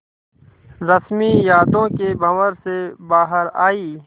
रश्मि यादों के भंवर से बाहर आई